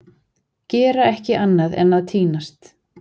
Gera ekki annað en að týnast!